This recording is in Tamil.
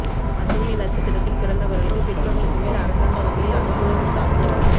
அசுவினி நட்சத்திரத்தில் பிறந்தவர்களுக்கு பிற்பகலுக்கு மேல் அரசாங்க வகையில் அனுகூலம் உண்டாகும்